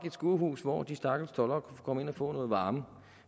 et skurhus hvor de stakkels toldere kunne komme ind og få noget varme